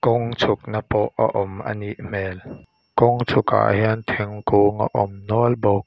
kawng chhukna pawh a awm anih hmel kawng chhuk ah hian thingkung a awm nual bawk.